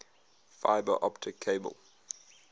fiber optic cable